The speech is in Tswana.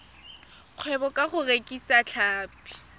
kgwebo ka go rekisa tlhapi